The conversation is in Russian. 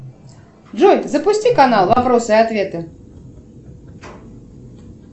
джой запусти канал вопросы и ответы